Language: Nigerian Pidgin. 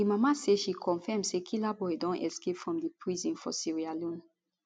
di mama say she confam say killaboi don escape from di prison for sierra leone